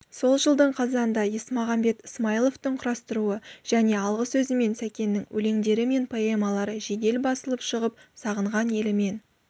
сол жылдың қазанында есмағамбет ысмайыловтың құрастыруы және алғы сөзімен сәкеннің өлеңдері мен поэмалары жедел басылып шығып сағынған елімен